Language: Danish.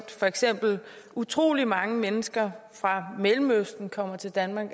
at for eksempel utrolig mange mennesker fra mellemøsten kommer til danmark